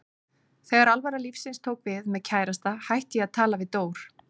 Þegar alvara lífsins tók við, með kærasta, hætti ég að tala við Dór.